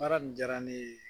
Baara nin diyara ne ye